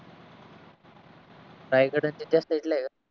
रायगड च्या त्या साइड ला आहे